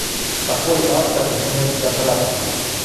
какой автор у смерть сократа